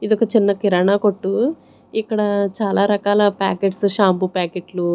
ఇదొక చిన్న కిరాణా కొట్టు ఇక్కడ చాలా రకాల ప్యాకెట్స్ షాంపూ ప్యాకెట్లు .